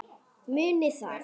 Munið það.